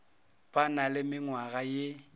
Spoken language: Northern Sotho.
ba na le menngwaga ye